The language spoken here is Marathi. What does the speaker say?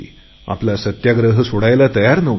आपला सत्याग्रह सोडायला तयार नव्हती